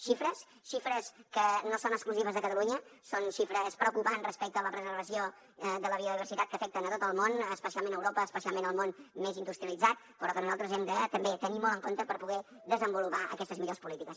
xifres xifres que no són exclusives de catalunya són xifres preocupants respecte la preservació de la biodiversitat que afecten tot el món especialment europa especialment el món més industrialitzat però que nosaltres hem de també tenir molt en compte per poder desenvolupar aquestes millors polítiques